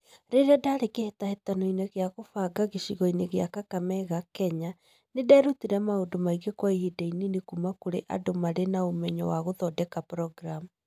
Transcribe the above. Rĩrĩa ndaarĩ kĩhĩtahĩtano-inĩ gĩa kũbanga gĩcigo-inĩ gĩa Kakamega, Kenya, nĩ nderutire maũndũ maingĩ kwa ihinda inini kuuma kũrĩ andũ marĩ na ũmenyo wa gũthondeka programu.